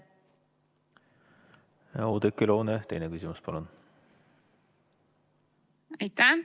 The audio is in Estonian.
Oudekki Loone, teine küsimus, palun!